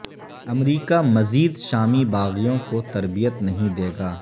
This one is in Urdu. امریکہ مزید شامی باغیوں کو تربیت نہیں دے گا